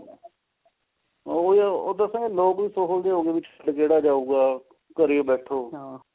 ਉਹ ਨਾ ਉਹ ਦੱਸਾਂ ਲੋਕ ਵੀ ਸੋਹਲ ਜੇ ਹੋਗੇ ਵਿੱਚ ਕਿਹੜਾ ਜਾਉਗਾ ਘਰੇ ਹੀ ਬੈਠੋ